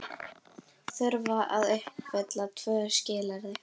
Þurfa að uppfylla tvö skilyrði